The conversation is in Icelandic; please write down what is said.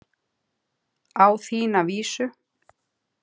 Á þína vísu.